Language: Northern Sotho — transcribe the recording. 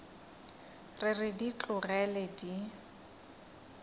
re re di tlogele di